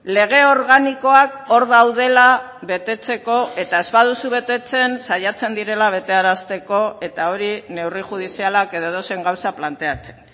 lege organikoak hor daudela betetzeko eta ez baduzu betetzen saiatzen direla betearazteko eta hori neurri judizialak edo edozein gauza planteatzen